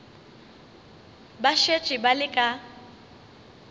ba šetše ba le ka